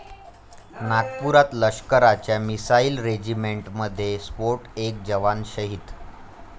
नागपुरात लष्कराच्या मिसाईल रेजिमेंटमध्ये स्फोट, एक जवान शहीद